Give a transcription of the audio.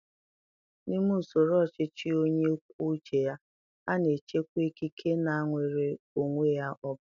N'ime usoro ọchịchị onye kwuo uche ya, a na-echekwa ikike na nnwere onwe onye ọ bụla